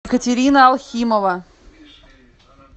екатерина алхимова